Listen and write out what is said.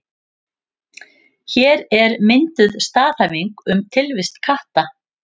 Hér er mynduð staðhæfing um tilvist katta.